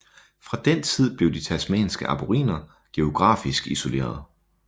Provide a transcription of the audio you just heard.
Fra den tid blev de tasmanske aboriginer geografisk isoleret